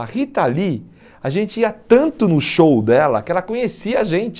A Rita Lee, a gente ia tanto no show dela que ela conhecia a gente.